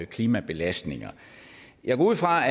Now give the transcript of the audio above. klimabelastninger jeg går ud fra